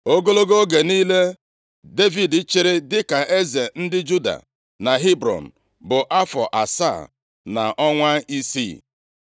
Ogologo oge niile Devid chịrị dịka eze ndị Juda na Hebrọn bụ afọ asaa na ọnwa isii.